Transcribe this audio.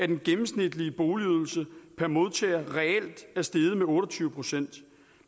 den gennemsnitlige boligydelse per modtager reelt er steget med otte og tyve procent